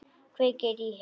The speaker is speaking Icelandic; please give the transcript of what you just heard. Kveikir í henni.